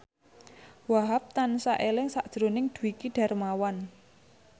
Wahhab tansah eling sakjroning Dwiki Darmawan